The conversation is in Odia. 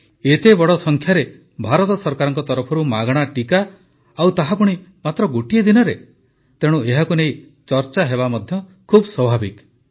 ଏତେ ବଡ଼ ସଂଖ୍ୟାରେ ଭାରତ ସରକାରଙ୍କ ତରଫରୁ ମାଗଣା ଟିକା ଆଉ ତାହା ପୁଣି ମାତ୍ର ଗୋଟିଏ ଦିନରେ ତେଣୁ ଏହାକୁ ନେଇ ଚର୍ଚ୍ଚା ହେବା ମଧ୍ୟ ଖୁବ ସ୍ୱାଭାବିକ କଥା